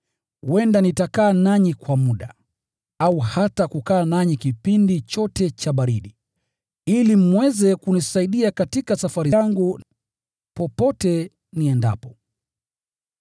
Huenda nitakaa nanyi kwa muda, au hata kukaa nanyi kipindi chote cha baridi, ili mweze kunisaidia katika safari yangu, popote niendapo.